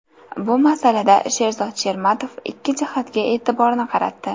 Bu masalada Sherzod Shermatov ikki jihatga e’tiborni qaratdi.